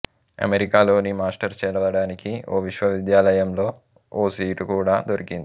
అమెరికాలోని మాస్టర్స్ చదవడానికి ఓ విశ్వవిద్యాలయంలో ఓ సీటు కూడా దొరికింది